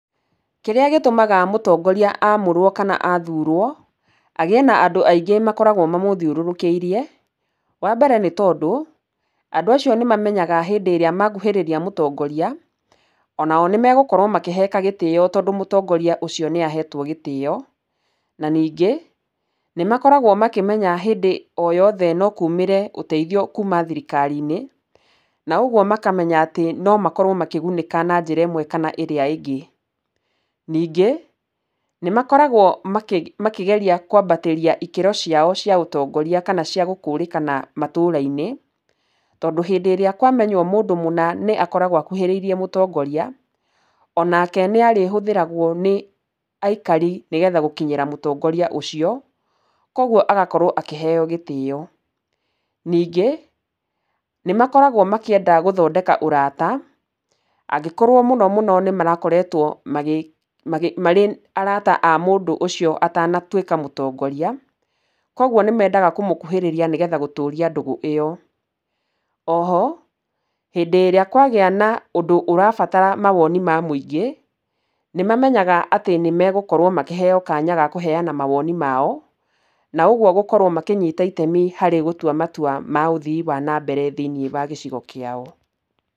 Kĩrĩa gĩtũmaga mũtongoria amũrũo kana athuurũo, agĩĩ na andũ aingĩ makoragwo mamũthiũrũrũkĩirie, wa mbere nĩ tondũ, andũ acio nĩ mamenyaga hĩndĩ ĩrĩa makuhĩrĩria mũtongoria, onao nĩ magũkorwo makĩheka gĩtĩo tondũ mũtongoria ũcio nĩ aheetwo gĩtĩo. Na ningĩ, nĩ makoragwo makĩmenya hĩndĩ o yothe no kumĩre ũteithio kuuma thirikari-inĩ, na ũguo makamenya atĩ, no makorwo makĩgunĩka na njĩra ĩmwe kana ĩrĩa ĩngĩ. Ningĩ, nĩ makoragwo makĩgeria kwambĩtiria ikĩro ciao cia ũtongoria kana cia gũkũrĩkana matũũra-inĩ, tondũ hĩndĩ ĩrĩa kwamenywo mũndũ mũna nĩ akoragwo akuhĩrĩirie mũtongoria, onake nĩ arĩhũthĩragwo nĩ aikari nĩgetha gũkinyĩra mũtongoria ũcio. Koguo agakorwo akĩheeo gĩtĩo. Ningĩ, nĩ makoragwo makĩenda gũthondeka ũraata, angĩkorwo mũno mũno nĩ marakoretwo marĩ arata a mũndũ ũcio atanatuĩka mũtongoria. Kũguo nĩ mendaga kũmũkuhĩrĩria nĩgetha gũtũũria ndũgũ ĩyo. Oho, hĩndĩ ĩrĩa kwagĩa na ũndũ ũrabatara mawoni ma mũingĩ, nĩ mamenyaga atĩ nĩ megũkorwo makĩheeo kanya ga kũheana mawoni mao, na ũguo gũkorwo makĩnyita itemi harĩ gũtua matua ma ũthii wa na mbere thĩiniĩ wa gĩcigo kĩao.